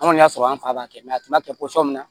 Anw kɔni y'a sɔrɔ an fa b'a kɛ a tun t'a kɛ min na